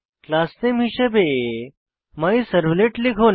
class নামে হিসাবে my servlet লিখুন